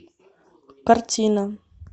картина